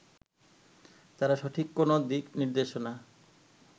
তার সঠিক কোনো দিক নির্দেশনা